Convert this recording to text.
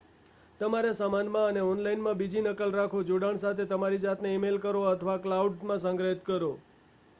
"તમારા સામાનમાં અને ઓનલાઇન માં બીજી નકલ રાખો જોડાણ સાથે તમારી જાતને ઈ-મેઈલ કરો, અથવા "ક્લાઉડ" માં સંગ્રહિત કરો.